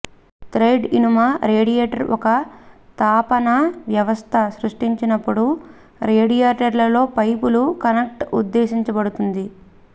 thread ఇనుము radiator ఒక తాపన వ్యవస్థ సృష్టిస్తున్నప్పుడు రేడియేటర్లలో పైపులు కనెక్ట్ ఉద్దేశించబడింది